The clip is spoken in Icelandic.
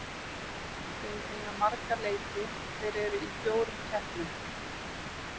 Þeir eiga marga leiki, þeir eru í fjórum keppnum.